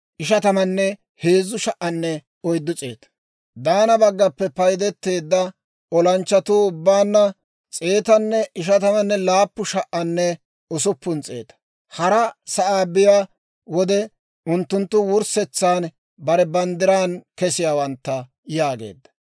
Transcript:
Daana baggaappe paydeteedda olanchchatuu ubbaanna 157,600. Hara sa'aa biyaa wode unttunttu wurssetsan bare banddiran kesiyaawantta» yaageedda.